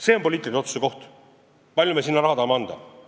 See on poliitilise otsuse koht, kui palju me sinna raha anda tahame.